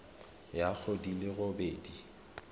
ya go di le robedi